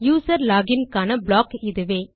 user log in க்கான block இதுவே